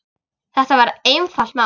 Þetta var einfalt mál.